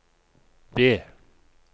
B